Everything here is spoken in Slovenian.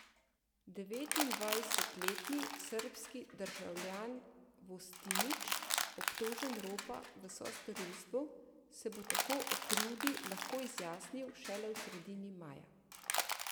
Devetindvajsetletni srbski državljan Vostinić, obtožen ropa v sostorilstvu, se bo tako o krivdi lahko izjasnil šele v sredini maja.